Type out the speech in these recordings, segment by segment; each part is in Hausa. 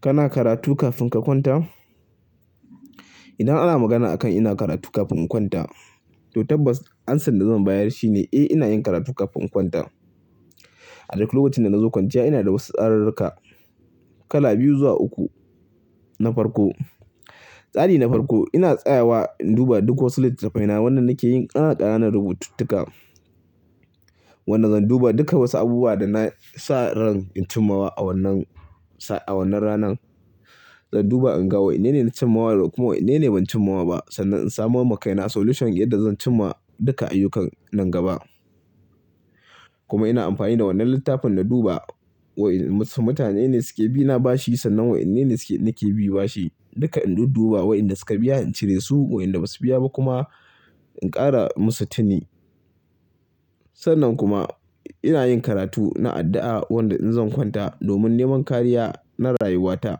Kana karatu kafin ka kwanta? Idan ana magana a kan ina karatu kafin in kwanta to tabbas ansar da zan bayar shine eh ina yin karatu kafin in kwanta. A duk lokacin da nazo kwanciya ina da wasu tsarurruka kala biyu zuwa uku na farko. Tsari na farko ina tsayawa in duba duk wasu littattafaina wanda nakeyin ƙanana ƙananan rubututtuka. Wanda zan duba duka wasu abubuwa da na sa ran in cimawa a wannan sa-- a wannan ranan. Zan duba in ga wa'enne na cimawa da kuma wa'yene ban cimawa ba sannan in samoma kai na solution yadda zan cimma duka ayyukan nan gaba. Kuma ina amfani da wannan littafin na duba wa'en su-- mutane ne suke bi na bashi sannan wa'yene suke-- nake bi bashi. Duka in duk duba wa'inda suka biya in cire su wa'inda Basu biya ba kuma in ƙara musu tini. Sannan kuma ina yin karatu na addu'a wanda in zan kwanta domin neman kariya na rayuwata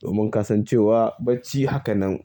domin kasancewa bacci haka nan.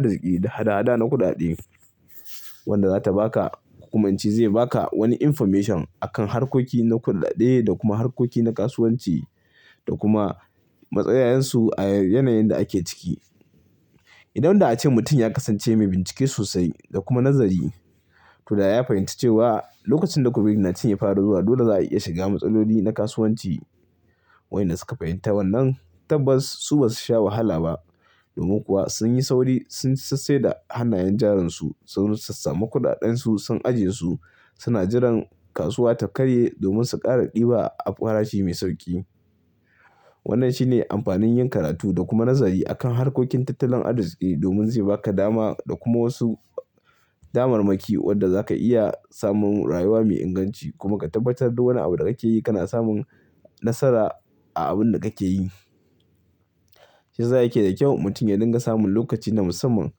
Na kudaden wanda zata baka kokuma ince zai baka wani information akan harkoki na kuɗaɗe da kuma harkoki na kasuwanci da kuma matsayayansu a yanayin da ake ciki. Idan da ake mutum ya kasance mai bincike sosai da kuma nazari to da ya fahimci cewa lokacin da COVID-19 ya fara zuwa dole za a iya shiga matsaloli na kasuwanci. Wa'inda suka fahimta wannan tabbas su Basu sha wahala ba domin kuwa sun yi sauri sun sassaye da hannayen jarunsu sun sassama kuɗaɗen su sun ajiye su suna jiran kasuwa ta karye domin su ƙara ɗiba a farashi mai sauƙi. Wannan shine amfanin yin karatu da kuma nazari akan harkokin tattalin arzikin domin zai baka dama da kuma wasu damarmaki wadda za ka iya samun rayuwa mai inganci kuma ka tabbatar da wani abu da kake yi kana samun nasara a abun da kake yi. Shi sa yake da kyau mutum ya dinga samun lokaci na musamman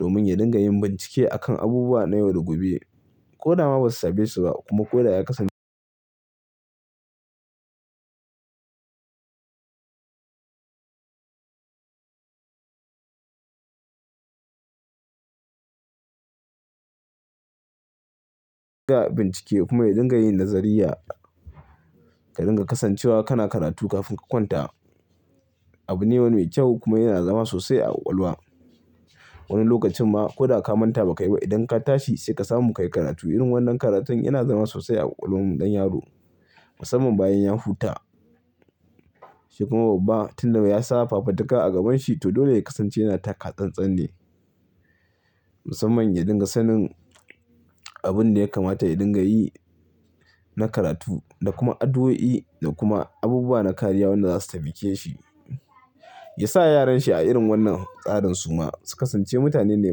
domin ya dinga yin bincike akan abubuwa na yau da gobe. Ko dama Basu same su ba kuma ko da ya kasam-- ka bincike kuma ya dinga yin nazariya ka dinga kasancewa kana karatu kafin ka kwanta abu ne mai kyau kuma yana zama sosai a ƙwaƙwalwa. Wani lokacin ma ko da ka manta ba kai ba idan ka tashi sai ka samu ka yi karatu irin wannan karatun yana zama sosai a ƙwaƙwalwar mu ɗan yaro musamman bayan ya huta. Shi kuma babba tun da ya sa fafataka a gaban shi to dole ya kasance yana taka tsatstsan ne musamman ya dinga sanin abin da ya kamata ya dinga yi na karatu da kuma addu'o'i da kuma abubuwa na kariya wanda zasu taimake shi. Ya sa yaran shi a irin wannan tsarin suma su kasance mutane ne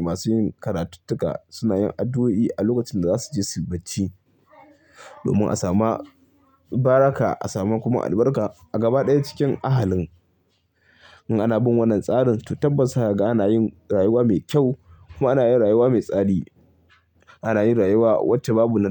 masu yin karatuttuka suna yin addu'o'i a lokacin da zasuje suyi bacci domin a samu baraka a samu kuma albarka a gaba ɗaya cikin ahalin. In ana bin wannan tsarin to tabbas zakaga ana yin rayuwa mai kyau kuma ana yin rayuwa mai tsari. Ana yin rayuwa wacce babu nan--